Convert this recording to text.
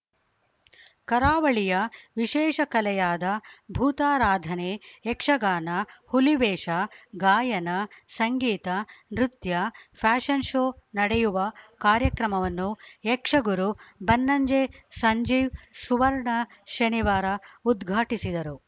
ಕರಾವಳಿಯ ವಿಶೇಷ ಕಲೆಯಾದ ಭೂತಾರಾಧನೆ ಯಕ್ಷಗಾನ ಹುಲಿವೇಷ ಗಾಯನ ಸಂಗೀತ ನೃತ್ಯ ಫ್ಯಾಷನ್‌ ಶೋ ನಡೆಯುವ ಕಾರ್ಯಕ್ರಮವನ್ನು ಯಕ್ಷಗುರು ಬನ್ನಂಜೆ ಸಂಜೀವ್‌ ಸುವರ್ಣ ಶನಿವಾರ ಉದ್ಘಾಟಿಸಿದರು